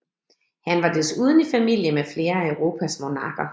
Han var desuden i familie med flere af Europas monarker